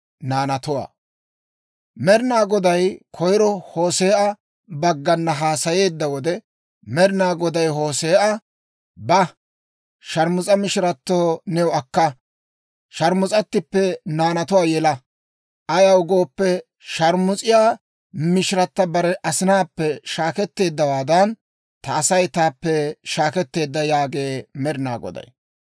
Med'inaa Goday koyiro Hoose'a baggana haasayeedda wode, Med'inaa Goday Hoose'a, «Ba; sharmus'a mishirato new akka; sharmus'attippe naanatuwaa yela. Ayaw gooppe, shaarmus'iyaa mishiratta bare asinaappe shaakettiyaawaadan, ta Asay taappe shaakketteedda» yaagee Med'inaa Goday.